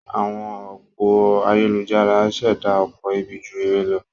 Àwọn òpó ayélujára ń ṣẹ̀dá ọ̀pọ̀ ibi ju ire lọ.